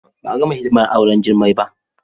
Ba a gama hidimar auren Jummai ba